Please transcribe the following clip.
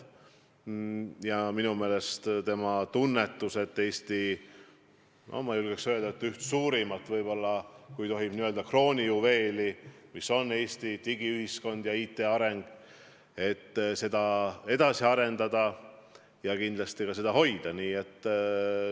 Ja minu meelest ta tunnetab, et Eesti üht suurimat kroonijuveeli – ma julgen nii öelda –, meie digiühiskonda tuleb edasi arendada ja saavutatud taset hoida.